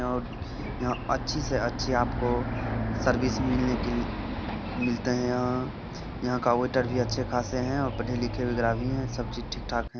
यहाँ अच्छी से अच्छी आप को सर्विस मिलने के मिलते है| यहाँ के वेटर भी अच्छे खासे है और पढे लिखे भी ग्राहकी वगेरा भी है सब चीजे ठीक-ठाक है।